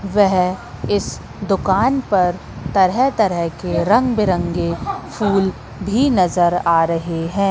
वह इस दुकान पर तरह तरह के रंग बिरंगे फूल भी नजर आ रहे हैं।